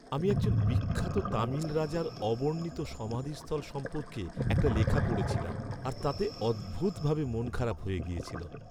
আমি একজন বিখ্যাত তামিল রাজার অবর্ণিত সমাধিস্থল সম্পর্কে একটা লেখা পড়েছিলাম আর তাতে অদ্ভুতভাবে মনখারাপ হয়ে গেছিল!